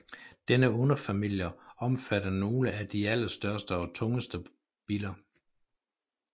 Denne underfamilie omfatter nogle af de allerstørste og tungeste biller